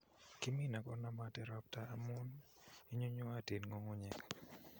Kimine konomote ropta amun inyunyuotin ng'ung'unyek.